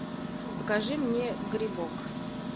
покажи мне грибок